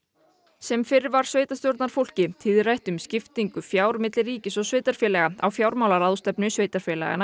sem fyrr var sveitarstjórnarfólki tíðrætt um skiptingu fjár milli ríkis og sveitarfélaga á fjármálaráðstefnu sveitarfélaganna